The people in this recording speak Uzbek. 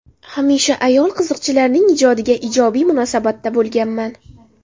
Hamisha ayol qiziqchilarning ijodiga ijobiy munosabatda bo‘lganman.